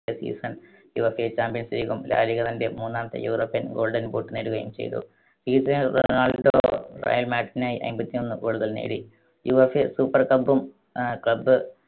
season UEFA champions league ഉം La Liga തന്റെ മൂന്നാമത്തെ യൂറോപ്യൻ ഗോൾഡൻ ബൂട്ട് നേടുകയും ചെയ്തു. റയൽ മാഡ്രിഡിനായി അയ്മ്പത്തൊന്ന് goal കൾ നേടി. യുവേഫ super cup ഉം ആഹ് club